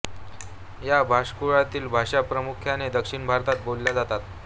या भाषाकुळातील भाषा प्रामुख्याने दक्षिण भारतात बोलल्या जातात